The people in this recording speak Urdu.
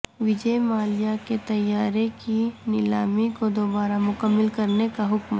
وجے مالیا کے طیارے کی نیلامی کو دوبارہ مکمل کرنے کا حکم